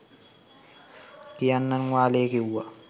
කියන්නන් වාලේ කිව්වා.